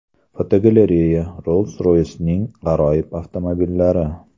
Fotogalereya: Rolls-Royce’ning g‘aroyib avtomobillari.